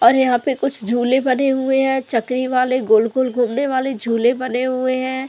और यहां पे कुछ झूले बने हुए हैं चकरी वाले गोल गोल घूमने वाले झूले बने हुए हैं।